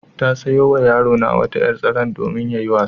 Ta sayo wa yarona wata ƴar-tsanar domin yayi wasa.